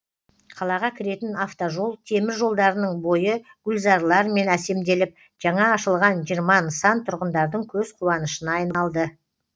қалаға кіретін автожол темір жолдарының бойы гүлзарлармен әсемделіп жаңа ашылған жиырма нысан тұрғындардың көзқуанышына айналды